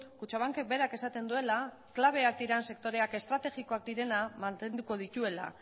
kutxabankek berak esaten duela klabeak dira sektoreak estrategikoak direnak mantenduko dituela